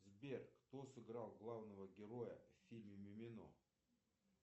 сбер кто сыграл главного героя в фильме мимино